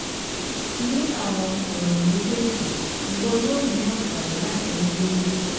Ni awọn ọran mejeeji iwọ yoo ni anfani lati ni deede